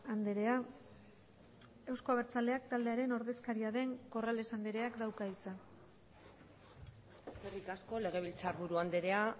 andrea euzko abertzaleak taldearen ordezkaria den corrales andreak dauka hitza eskerrik asko legebiltzarburu andrea